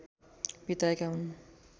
विताएका हुन्